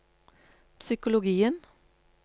psykologien